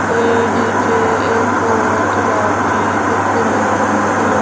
ये नीचे एक औरत जाती दिख रही है।